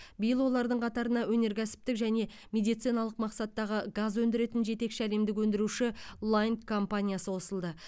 биыл олардың қатарына өнеркәсіптік және медициналық мақсаттағы газ өндіретін жетекші әлемдік өндіруші лайнд компаниясы қосылды